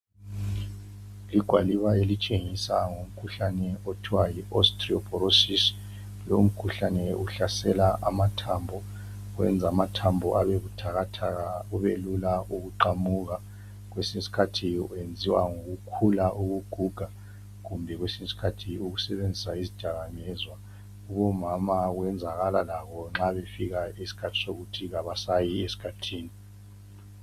Igwaliba elitshengisa ngomkhuhlane othiwa yi osteoporosis. Lomkhuhlane uhlase amathambo. Wenz' amathambo abe buthakathaka kubelula ukuqamuka. Kwesiny' iskhathi uyenziwe ngokukhula ukuguga, kumbe kwesiny'skhathi ukusebenzisa izdakamizwa. Kubomama wenzakala labo nxa befika iskhathi sokuthi kabasayi eskhathini.